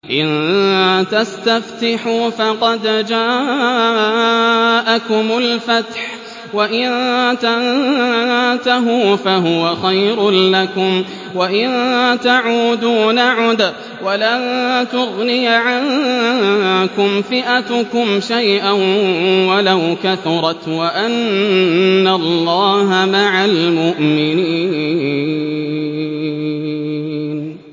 إِن تَسْتَفْتِحُوا فَقَدْ جَاءَكُمُ الْفَتْحُ ۖ وَإِن تَنتَهُوا فَهُوَ خَيْرٌ لَّكُمْ ۖ وَإِن تَعُودُوا نَعُدْ وَلَن تُغْنِيَ عَنكُمْ فِئَتُكُمْ شَيْئًا وَلَوْ كَثُرَتْ وَأَنَّ اللَّهَ مَعَ الْمُؤْمِنِينَ